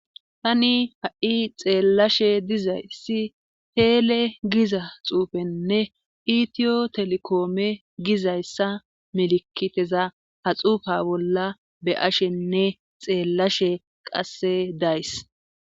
Tani ha'i xeellashe dizayssi teele giza xuufenne itiyo telikoome gizayssa milikiteza ha xuufa bolla be ashenne xeellashe qasse days.